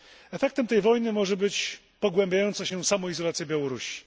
Efektem tej wojny może być pogłębiająca się samoizolacja Białorusi.